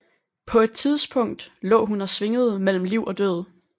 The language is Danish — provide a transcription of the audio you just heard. På et tidspunkt lå hun og svingede mellem liv og død